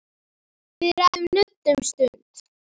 Við ræðum nudd um stund.